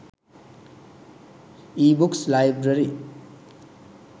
ebooks library